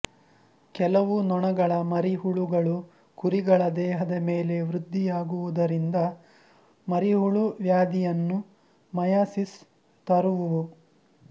ಕೆಲವು ನೊಣಗಳ ಮರಿ ಹುಳುಗಳು ಕುರಿಗಳ ದೇಹದ ಮೇಲೆ ವೃದ್ಧಿಯಾಗುವುದರಿಂದ ಮರಿಹುಳು ವ್ಯಾಧಿಯನ್ನು ಮಯಾಸಿಸ್ ತರುವುವು